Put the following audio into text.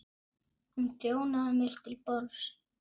Hún þjónaði mér til borðs.